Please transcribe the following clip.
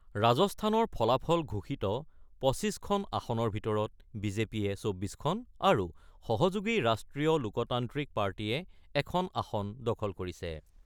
ৰাজস্থানৰ ফলাফল ঘোষিত ২৫খন আসনৰ ভিতৰত বি জে পিয়ে ২৪খন আৰু সহযোগী ৰাষ্ট্ৰীয় লোকতান্ত্ৰিক পাৰ্টীয়ে এখন আসন দখল কৰিছে।